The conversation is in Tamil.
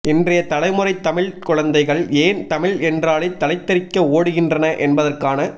இன்றைய தலைமுறைத் தமிழ்க் குழந்தைகள் ஏன் தமிழ் என்றாலே தலைதெரிக்க ஓடுகின்றன என்பதற்கான